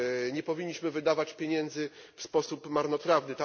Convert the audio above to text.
Nie powinniśmy wydawać pieniędzy w sposób marnotrawny.